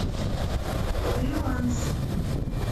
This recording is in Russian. фриланс